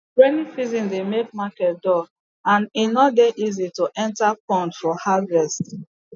rainy season dey make market dull and e no dey easy to enta pond for harvest